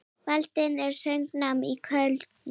Dvaldi við söngnám í Köln.